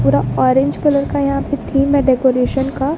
पूरा orange colour का यहां पे थीम है डेकोरेशन का।